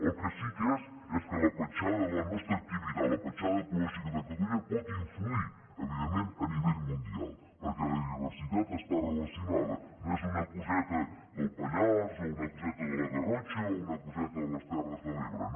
el que sí que sé és que la petjada de la nostra activitat la petjada ecològica de catalunya pot influir evidentment a nivell mundial perquè la biodiversitat està relacionada no és una coseta del pallars o una coseta de la garrotxa o una coseta de les terres de l’ebre no